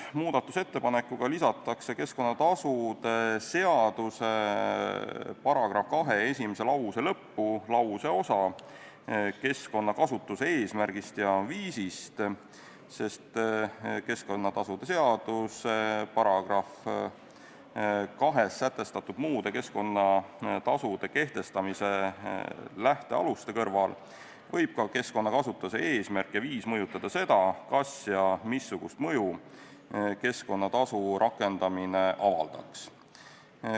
Muudatusettepanekuga lisatakse keskkonnatasude seaduse § 2 esimese lause lõppu lauseosa "keskkonnakasutuse eesmärgist ja viisist", sest keskkonnatasude seaduse §-s 2 sätestatud muude keskkonnatasude kehtestamise lähtealuste kõrval võib ka keskkonnakasutuse eesmärk ja viis mõjutada seda, kas ja missugust mõju keskkonnatasu rakendamine avaldaks.